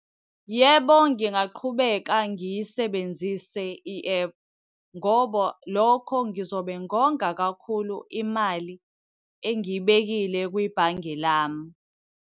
Yebo, ngingaqhubeka ngiyisebenzise i-ephu ngoba lokho ngizobe ngonga kakhulu imali engiyibekile kwibhange lami.